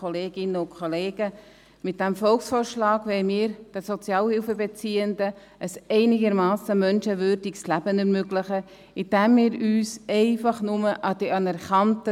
Mit dem Volksvorschlag wollen wir den Sozialhilfebeziehenden ein einigermassen menschenwürdiges Leben ermöglichen, indem wir uns einfach nur an